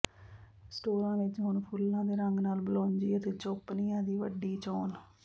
ਸਟੋਰਾਂ ਵਿੱਚ ਹੁਣ ਫੁੱਲਾਂ ਦੇ ਰੰਗ ਨਾਲ ਬਲੌਜੀ ਅਤੇ ਚੌਪਨੀਆਂ ਦੀ ਵੱਡੀ ਚੋਣ